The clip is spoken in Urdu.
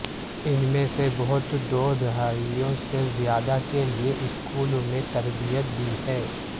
ان میں سے بہت دو دہائیوں سے زیادہ کے لئے اسکول میں تربیت دی ہے